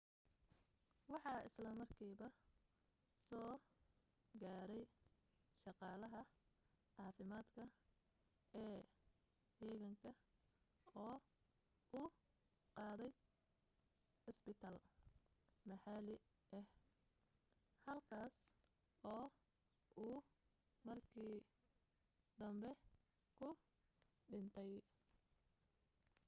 waxa isla markiiba soo gaadhay shaqaalaha caafimaadka ee heeganka oo u qaaday cusbitaal maxalli ah halkaas oo uu markii danbe ku dhintay